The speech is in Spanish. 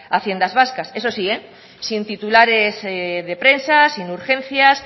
haciendas vascas eso sí sin titulares de prensas sin urgencias